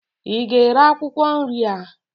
ị ga-ere akwụkwọ nri a?